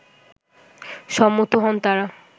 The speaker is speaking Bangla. সম্মত হন তারা